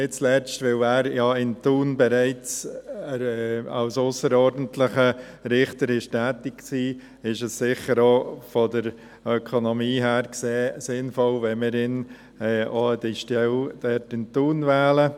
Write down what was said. Nicht zuletzt, weil er ja in Thun bereits als ausserordentlicher Richter tätig war, ist es sicher auch von der Ökonomie her gesehen sinnvoll, wenn wir ihn an diese Stelle in Thun wählen.